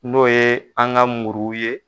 N'o ye an ka muru ye.